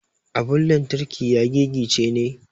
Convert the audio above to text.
Abun lantarki ya gigice ne.